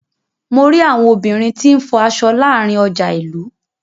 Mo ri àwọn obìnrin tí n fọ aṣọ láàárín ọjà ilú.